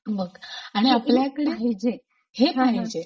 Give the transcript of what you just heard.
बघ आणि आपल्याकडे पाहिजे हे पाहिजे.